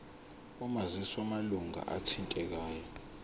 omazisi wamalunga athintekayo